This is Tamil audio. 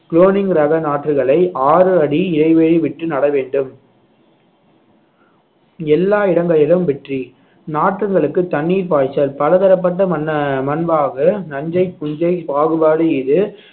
குளோனிங் ரக நாற்றுகளை ஆறு அடி இடைவெளி விட்டு நட வேண்டும் எல்லா இடங்களிலும் வெற்றி நாற்றுகளுக்கு தண்ணீர் பாய்ச்சல் பலதரப்பட்ட மண்~ மண்வாகு நஞ்சை புஞ்சை பாகுபாடு இது